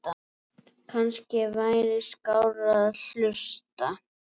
Kannski væri skárra að hlusta